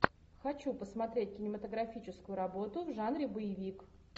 хочу посмотреть кинематографическую работу в жанре боевик